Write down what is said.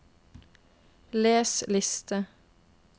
les liste